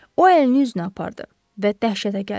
O əlini üzünə apardı və dəhşətə gəldi.